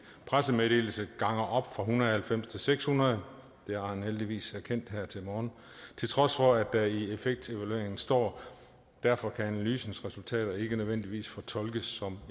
pressemeddelelse ganger op fra en hundrede og halvfems til seks hundrede det har han heldigvis erkendt her til morgen til trods for at der i effektevalueringen står derfor kan analysens resultater ikke nødvendigvis fortolkes som